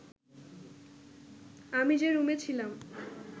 আমি যে রুমে ছিলাম